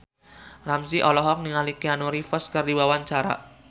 Ramzy olohok ningali Keanu Reeves keur diwawancara